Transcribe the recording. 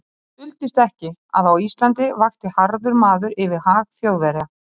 Það duldist ekki, að á Íslandi vakti harður maður yfir hag Þjóðverja.